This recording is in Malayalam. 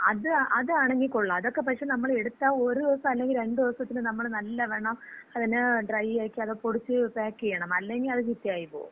ങാ, അത് അതാണങ്കി കൊള്ളാം. അതക്ക പക്ഷെ നമ്മള് എടുത്താ ഒരു ദിവസം അല്ലെങ്കി രണ്ട് ദെവസത്തില് നമ്മള് നല്ലവണ്ണം അതിനെ ഡ്രൈ ആക്കി അത് പൊടിച്ച് പാക്ക് ചെയ്യണം. അല്ലെങ്കി അത് ചീത്തയായിപ്പോകും.